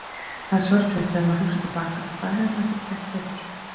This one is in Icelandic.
Það er sorglegt þegar maður hugsar til baka og hvað maður hefði getað gert betur.